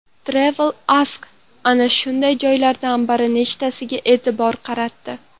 TravelAsk ana shunday joylardan bir nechtasiga e’tibor qaratdi .